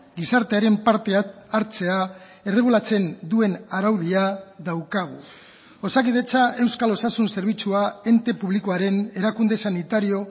gizartearen parte hartzea erregulatzen duen araudia daukagu osakidetza euskal osasun zerbitzua ente publikoaren erakunde sanitario